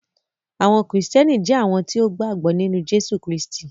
Àwọn Kristiánì jẹ̀ awọn tí o gba gbọ̀ nínu Jésù Kristì.